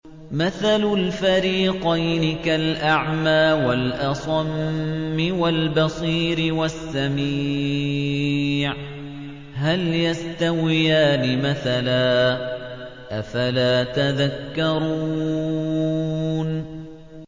۞ مَثَلُ الْفَرِيقَيْنِ كَالْأَعْمَىٰ وَالْأَصَمِّ وَالْبَصِيرِ وَالسَّمِيعِ ۚ هَلْ يَسْتَوِيَانِ مَثَلًا ۚ أَفَلَا تَذَكَّرُونَ